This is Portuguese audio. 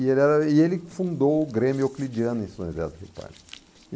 E ele era e ele que fundou o Grêmio Euclidiano em São José do Rio Pardo.